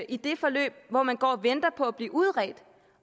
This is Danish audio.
i det forløb hvor man går og venter på at blive udredt